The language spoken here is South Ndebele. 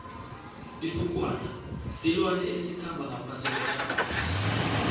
ifukwana silwane esikhamba ngaphasi kuehlabathi